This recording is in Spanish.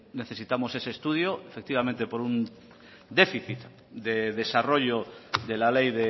necesitamos ese estudio efectivamente por un déficit de desarrollo de la ley